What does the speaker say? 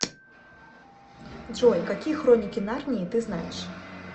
джой какие хроники нарнии ты знаешь